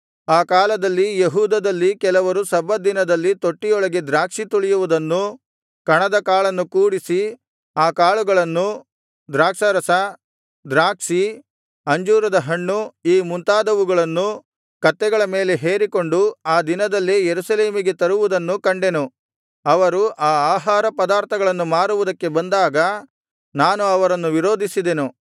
ಆ ಕಾಲದಲ್ಲಿ ಯೆಹೂದದಲ್ಲಿ ಕೆಲವರು ಸಬ್ಬತ್ ದಿನದಲ್ಲಿ ತೊಟ್ಟಿಯೊಳಗೆ ದ್ರಾಕ್ಷಿ ತುಳಿಯುವುದನ್ನೂ ಕಣದ ಕಾಳನ್ನು ಕೂಡಿಸಿ ಆ ಕಾಳುಗಳನ್ನೂ ದ್ರಾಕ್ಷಾರಸ ದ್ರಾಕ್ಷಿ ಅಂಜೂರದ ಹಣ್ಣು ಈ ಮುಂತಾದವುಗಳನ್ನು ಕತ್ತೆಗಳ ಮೇಲೆ ಹೇರಿಕೊಂಡು ಆ ದಿನದಲ್ಲೇ ಯೆರೂಸಲೇಮಿಗೆ ತರುವುದನ್ನೂ ಕಂಡೆನು ಅವರು ಆ ಆಹಾರ ಪದಾರ್ಥಗಳನ್ನು ಮಾರುವುದಕ್ಕೆ ಬಂದಾಗ ನಾನು ಅವರನ್ನು ವಿರೋಧಿಸಿದೆನು